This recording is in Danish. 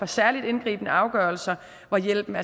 særligt indgribende afgørelser hvor hjælpen